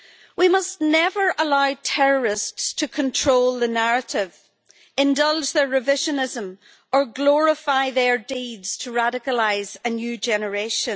We must never allow terrorists to control the narrative, indulge their revisionism or glorify their deeds to radicalise a new generation.